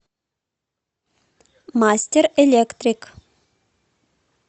мастер электрик